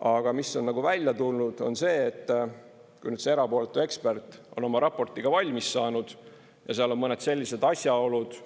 Aga mis on välja tulnud, on see, et kui nüüd see erapooletu ekspert on oma raporti valmis saanud ja seal on mõned sellised asjaolud,